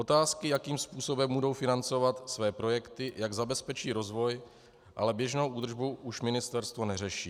Otázky, jakým způsobem budou financovat své projekty, jak zabezpečí rozvoj, ale běžnou údržbu už ministerstvo neřeší.